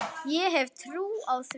Ég hef trú á því.